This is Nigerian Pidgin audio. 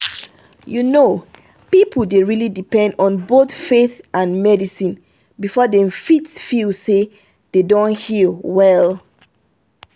you know some people dey really depend on both faith and medicine before dem fit feel say dem don heal well.